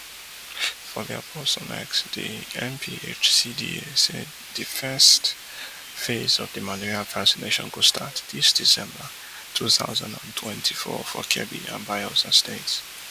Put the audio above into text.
for dia post on x di NPHCDA say di first phase of di malaria vaccination go start dis december two thousand and twenty-four for kebbi and bayelsa states